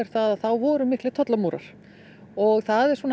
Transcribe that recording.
það voru miklir tollamúrar og það er